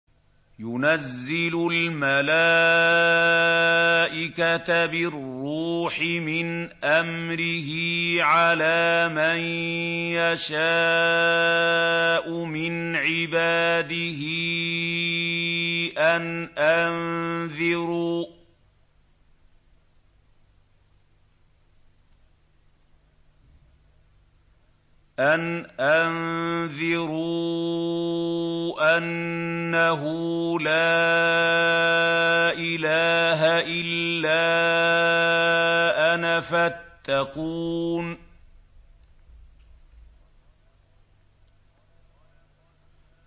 يُنَزِّلُ الْمَلَائِكَةَ بِالرُّوحِ مِنْ أَمْرِهِ عَلَىٰ مَن يَشَاءُ مِنْ عِبَادِهِ أَنْ أَنذِرُوا أَنَّهُ لَا إِلَٰهَ إِلَّا أَنَا فَاتَّقُونِ